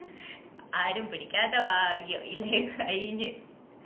ആരും പിടിക്കാത്ത ഭാഗ്യം ഇല്ലേ കയിന്